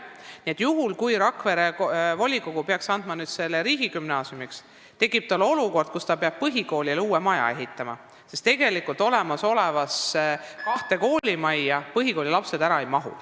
Nii et juhul kui Rakvere volikogu peaks andma selle maja riigigümnaasiumile, tekib olukord, kus peab põhikoolile uue maja ehitama, sest olemasolevasse kahte koolimajja põhikoolilapsed ära ei mahu.